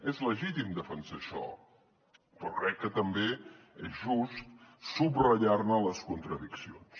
és legítim defensar això però crec que també és just subratllar ne les contradiccions